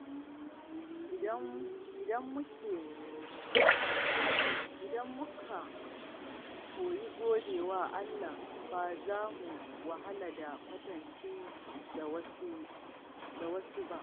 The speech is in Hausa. Idan muka koyi gode wa Allah, ba za mu wahala da kwatance da wasu ba.